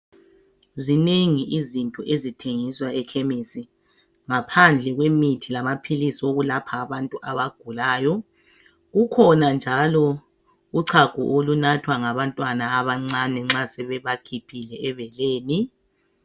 Zinengi izinto ezithengiswa ekhemesi ngaphandle kwemithi lamaphilisi asetshenziswa ukulapha abantu abagulayo, kukhona njalo uchago olunathwa ngabantwana abancane nxa sebebakhiphil ebeleni.